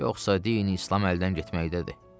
Yoxsa dini İslam əldən getməlidir.